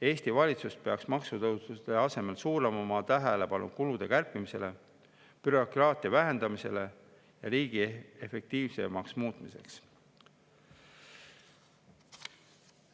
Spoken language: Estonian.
Eesti valitsus peaks maksutõusude asemel suunama oma tähelepanu kulude kärpimisele, bürokraatia vähendamisele ja riigi efektiivsemaks muutmisele.